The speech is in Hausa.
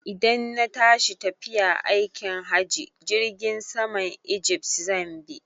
Idan na tashi tafiya aikin hajji, Jirgin saman ijift zan bi.